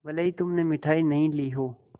भले ही तुमने मिठाई नहीं ली हो